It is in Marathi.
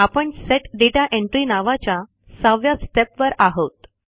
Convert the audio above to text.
आपण सेट दाता एंट्री नावाच्या 6 व्या Stepवर आहोत